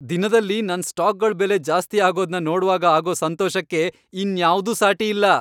ದಿನದಲ್ಲಿ ನನ್ ಸ್ಟಾಕ್ಗಳ್ ಬೆಲೆ ಜಾಸ್ತಿ ಆಗೋದ್ನ ನೋಡ್ವಾಗ ಆಗೋ ಸಂತೋಷಕ್ಕೆ ಇನ್ಯಾವ್ದೂ ಸಾಟಿಯಿಲ್ಲ.